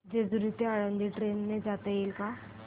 जेजूरी ते आळंदी ट्रेन ने जाता येईल का